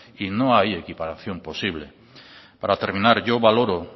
y no hay equiparación posible para terminar yo valoro